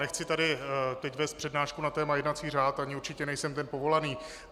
Nechci tady teď vést přednášku na téma jednací řád ani určitě nejsem ten povolaný.